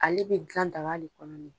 Ale bɛ dilan daga le kɔnɔ ni